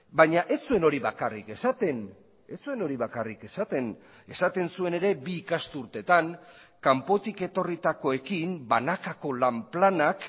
baina ez zuen hori bakarrik esaten ez zuen hori bakarrik esaten esaten zuen ere bi ikasturtetan kanpotik etorritakoekin banakako lan planak